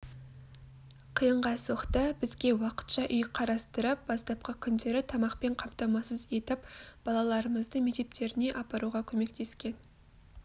қиынға соқты бізге уақытша үй қарастырып бастапқы күндері тамақпен қамтамасыз етіп балаларымызды мектептеріне апаруға көмектескен